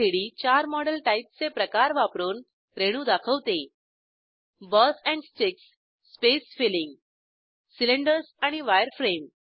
gchem3डी चार मॉडेल टाईपचे प्रकार वापरून रेणू दाखवते balls and sticks space filling cylinders आणि वायरफ्रेम